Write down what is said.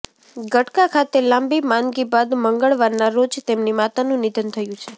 ગટકા ખાતે લાંબી માંદગી બાદ મંગળવારના રોજ તેમની માતાનું નિધન થયું છે